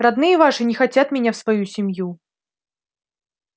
родные ваши не хотят меня в свою семью